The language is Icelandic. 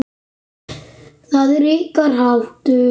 Það er ykkar háttur.